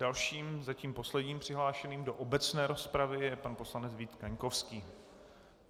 Dalším zatím posledním přihlášeným do obecné rozpravy je pan poslanec Vít Kaňkovský.